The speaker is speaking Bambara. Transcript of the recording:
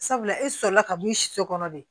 Sabula e sɔrɔla ka mun so kɔnɔ de